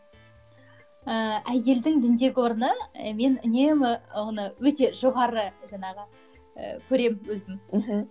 ііі әйелдің діндегі орны мен үнемі оны өте жоғары жаңағы і көремін өзім